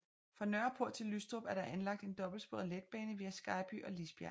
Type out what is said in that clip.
Fra Nørreport til Lystrup er der anlagt en dobbeltsporet letbane via Skejby og Lisbjerg